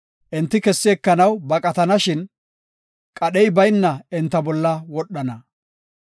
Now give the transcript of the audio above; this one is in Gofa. Enti kessi ekanaw baqatishin, qadhey bayna enta bolla wodhana.